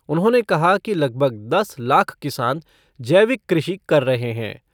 उन्होंने कहा कि लगभग दस लाख किसान जैविक कृषि कर रहे हैं।